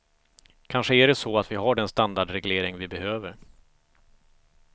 Kanske är det så att vi har den standardreglering vi behöver.